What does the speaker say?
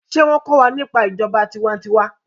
ṣe wón ko wà nípa ìjọba tiwa-n-tiwa?